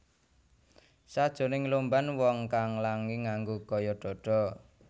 Sakjroning lomban wong kang langi nganggo gaya dada